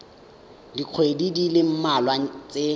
dikgweding di le mmalwa tse